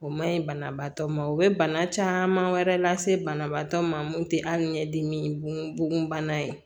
O man ɲi banabaatɔ ma o bɛ bana caman wɛrɛ lase banabaatɔ ma mun tɛ ali ɲɛdimi bonbana ye